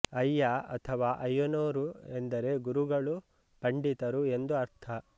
ಅಯ್ಯ ಅಥವಾ ಅಯ್ಯನೋರು ಎಂದರೆ ಗುರುಗಳು ಪಂಡಿತರು ಎಂದು ಅರ್ಥ